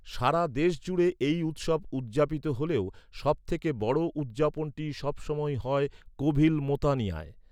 সারা দেশজুড়ে এই উৎসব উদযাপিত হলেও, সবথেকে বড় উদযাপনটি সবসময়ই হয় কোভিল মোঁতানিয়ায়।